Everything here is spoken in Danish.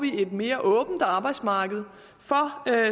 et mere åbent arbejdsmarked for